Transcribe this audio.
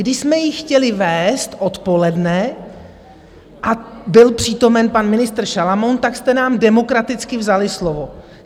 Když jsme ji chtěli vést odpoledne a byl přítomen pan ministr Šalamoun , tak jste nám demokraticky vzali slovo.